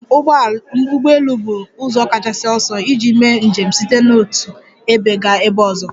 Njem ụgbọ elu bụ ụzọ kachasị ọsọ iji mee njem site n'otu ebe gaa ebe ọzọ.